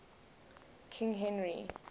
king henry